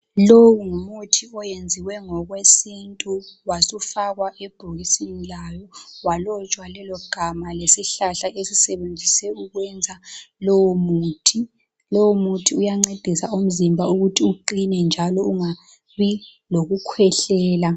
Lowu ngumuthi oyenziwe ngokwesintu wasufakwa ebhokisini lawo walotshwa lelogama lesihlahla esisetshenziswe ukwenza lowomuthi. Lowomuthi uyancedisa umzimba ukuthi uqine njalo ungabi lokukhwehlela.